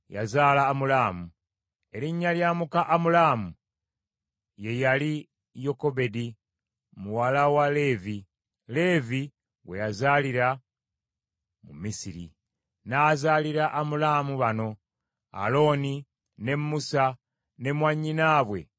Erinnya lya muka Amulaamu ye yali Yokebedi muwala wa Leevi, Leevi gwe yazaalira mu Misiri. N’azaalira Amulaamu bano: Alooni, ne Musa ne mwannyinaabwe Miryamu.